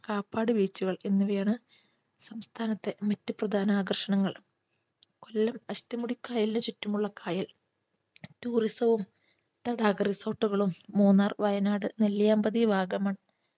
കാപ്പാട്ക beach കൾ എന്നിവയാണ് സംസ്ഥാനത്തെ മറ്റ് പ്രധാന ആകർഷണങ്ങൾ കൊല്ലം അഷ്ടമുടി കായലിന് ചുറ്റുമുള്ള കായൽ tourism വും തടാക resort കളും മൂന്നാർ വയനാട് നെല്ലിയാമ്പതി വാഗമൺ